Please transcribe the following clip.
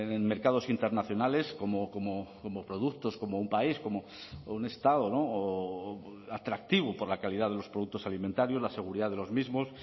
en mercados internacionales como productos como un país como un estado atractivo por la calidad de los productos alimentarios la seguridad de los mismos